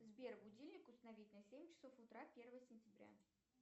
сбер будильник установить на семь часов утра первого сентября